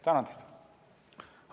Tänan teid!